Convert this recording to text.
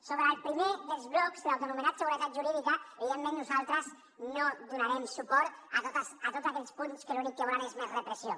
sobre el primer dels blocs l’autoanomenat seguretat jurídica evidentment nosaltres no donarem suport a tots aquells punts que l’únic que volen és més repressió